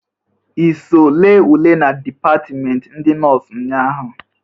I so lee ule na dipatmenti ndị nọs nnyaa ahụ?